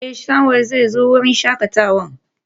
Eh, Samuel zai zo wurin shakatawa.